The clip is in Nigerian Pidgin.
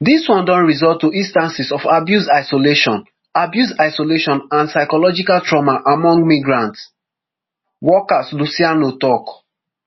dis one don result to instances of abuse isolation abuse isolation and psychological trauma among migrant workers luciano tok